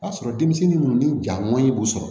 Ka sɔrɔ denmisɛnnin minnu ni ja man ɲi b'u sɔrɔ